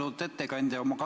Austatud ettekandja!